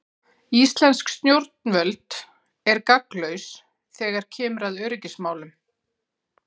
Íslensk stjórnvöld er gagnslaus þegar kemur að öryggismálum.